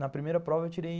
Na primeira prova eu tirei